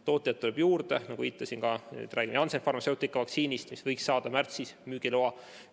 Tootjaid tuleb juurde, nagu viitasin, võime rääkida ka Janssen Pharmaceutica vaktsiinist, mis võib saada märtsis müügiloa.